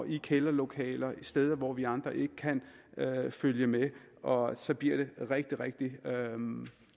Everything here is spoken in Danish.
i kælderlokaler steder hvor vi andre ikke kan følge med og så bliver det rigtig rigtig